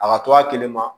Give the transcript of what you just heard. A ka to a kelen ma